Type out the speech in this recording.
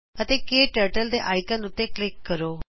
ਅਤੇ ਕੇ ਟਰਟਲ ਦੇ ਆਈਕਨ ਉਤੇ ਕਲਿਕ ਕਰੋ